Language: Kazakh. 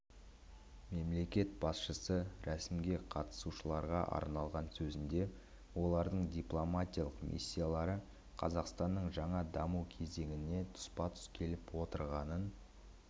мемлекет басшысы рәсімге қатысушыларға арналған сөзінде олардың дипломатиялық миссиялары қазақстанның жаңа даму кезеңіне тұспа-тұс келіп отырғанын